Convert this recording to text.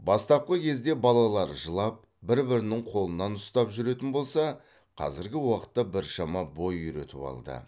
бастапқы кезде балалар жылап бір бірінің қолынан ұстап жүретін болса қазіргі уақытта біршама бой үйретіп алды